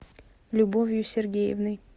любовью сергеевной